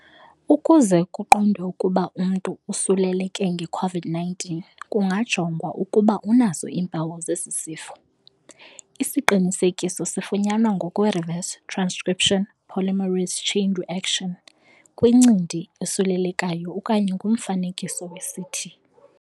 Ukuze kuqondwe ukuba umntu usuleleke nge COVID-19 kungajongwa ukuba unazo iimpawu zesisifo, isiqinisekiso sifunyanwa ngokwe reverse transcription polymerase chain reaction kwincindi esulelekayo okanye ngomfanekiso weCT.